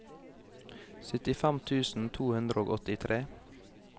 syttifem tusen to hundre og åttitre